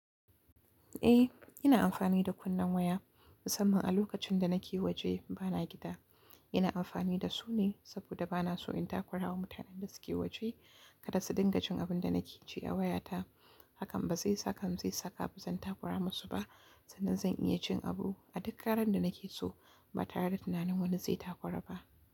Eh, ina amfani da kunnen waya musamman a lokacin da nake waje bana gida. Ina amfani da su ne saboda bana so in takurawa mutanen da suke waje, kada su dinga jin abin da nake cewa waya ta. Hakan ba zai saka musu zan takura masu ba sannan zan iya cin abu a duk karen da nake so ba tare da tunanin wani zai takura ba.